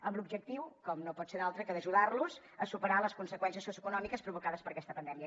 amb l’objectiu com no pot ser un altre d’ajudar los a superar les conseqüències socioeconòmiques provocades per aquesta pandèmia